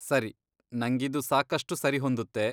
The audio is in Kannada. ಸರಿ, ನಂಗಿದು ಸಾಕಷ್ಟು ಸರಿ ಹೊಂದುತ್ತೆ.